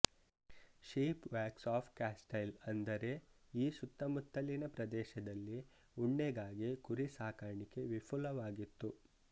sheep walks of Castile ಅಂದರೆ ಈ ಸುತ್ತಮುತ್ತಲಿನ ಪ್ರದೇಶದಲ್ಲಿ ಉಣ್ಣೆಗಾಗಿ ಕುರಿ ಸಾಕಾಣಿಕೆ ವಿಫುಲವಾಗಿತ್ತು